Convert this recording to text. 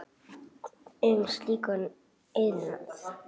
um slíkan iðnað.